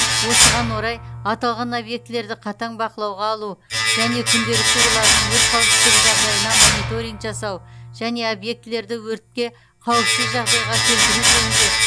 осыған орай аталған объектілерді қатаң бақылауға алу және күнделікті олардың өрт қауіпсіздігі жағдайына мониторинг жасау және объектілерді өртке қауіпсіз жағдайға келтіру жөнінде